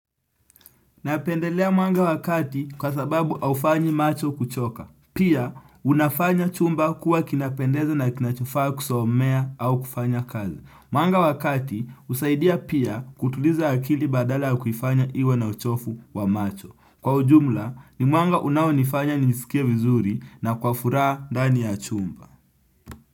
Napendelea mwanga wa kati kwa sababu haufanyi macho kuchoka. Pia, unafanya chumba kuwa kinapendeza na kinachofaa kusomea au kufanya kazi. Mwanga wa kati, husaidia pia kutuliza akili badala ya kuifanya iwe na uchovu wa macho. Kwa ujumla, ni mwanga unaonifanya nisikie vizuri na kwa furaha ndani ya chumba.